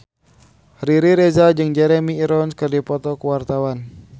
Riri Reza jeung Jeremy Irons keur dipoto ku wartawan